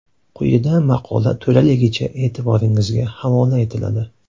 Quyida maqola to‘laligicha e’tiboringizga havola etiladi .